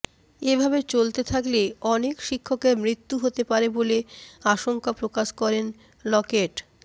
এভাবে চলতে থাকলে অনেক শিক্ষকের মৃত্যু হতে পারে বলে আশঙ্কা প্রকাশ করেন লকেট